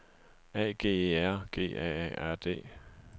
A G E R G A A R D